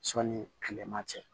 Sɔnni kilema cɛ